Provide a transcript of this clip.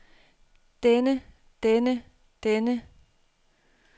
denne denne denne